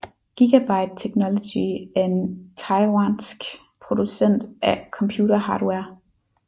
Gigabyte Technology er en taiwansk producent af computerhardware